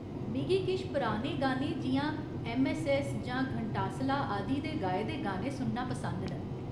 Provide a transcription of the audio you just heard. मिगी किश पराने गाने जि'यां ऐम्मऐस्सऐस्स जां घंटासला आदि दे गाए दे गाने सुनना पसंद न।